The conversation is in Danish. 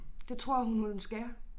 Det tror hun man skal